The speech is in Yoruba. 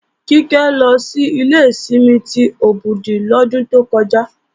Kíkẹ́ lọ sí ilé ìsinmi ti Òbùdù lọ́dún tó kọjá